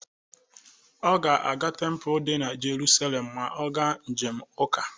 Ọ ga-aga tempulu dị na Jeruselem ma ọ ga njem ụka.